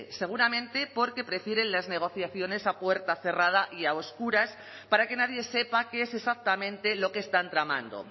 seguramente porque prefieren las negociaciones a puerta cerrada y a oscuras para que nadie sepa qué es exactamente lo que están tramando